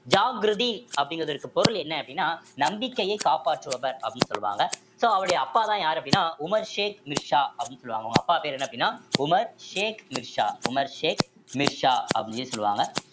ஜாகிருதீன் அப்படிங்கிறதுக்கு பொருள் என்ன அப்படின்னா நம்பிக்கையை காப்பாற்றுபவர் அப்படின்னு சொல்லுவாங்க so அவருடைய அப்பாதான் யாரு அப்படின்னா உமர் ஷேக் நிர்ஷா அப்படின்னு சொல்லுவாங்க அவங்க அப்பா பேரு என்ன அப்படின்னா உமர் ஷேக் நிர்ஷா உமர் ஷேக் மிர்சா அப்படின்னு சொல்லுவாங்க